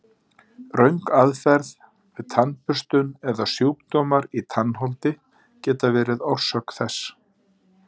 Röng aðferð við tannburstun eða sjúkdómar í tannholdi geta verið orsök þess.